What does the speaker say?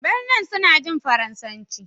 Benin suna jin Faransanci